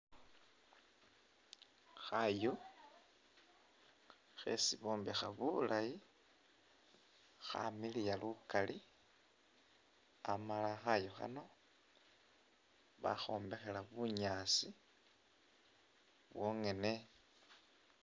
Khaayu khesi bombekha bulaayi khamiliya lukaali amala khayu khano bakhombekhela bunyaasi bwongene